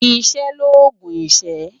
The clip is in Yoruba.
Iṣè lógún iṣë